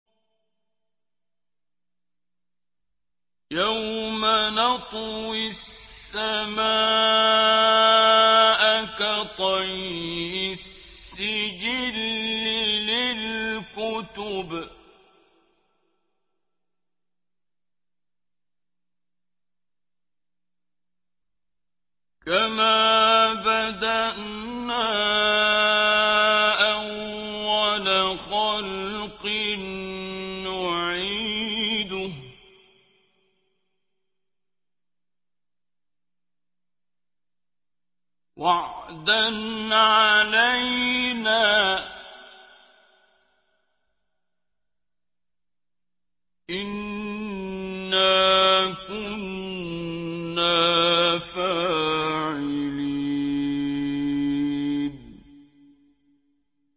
يَوْمَ نَطْوِي السَّمَاءَ كَطَيِّ السِّجِلِّ لِلْكُتُبِ ۚ كَمَا بَدَأْنَا أَوَّلَ خَلْقٍ نُّعِيدُهُ ۚ وَعْدًا عَلَيْنَا ۚ إِنَّا كُنَّا فَاعِلِينَ